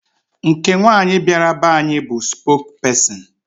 Nke nwaanyị bịara be anyị bụ spokesperson.